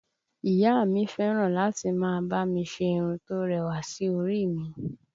Ìyá a mi fẹ́ràn láti máa bá mi ṣe irun tó rẹwà sí orí i mi